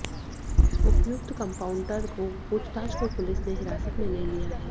उपर्युक्त कंपाउंडर को पूछताछ को पुलिस ने हिरासत में ले लिया है